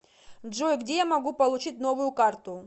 джой где я могу получить новую карту